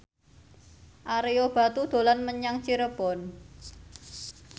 Ario Batu dolan menyang Cirebon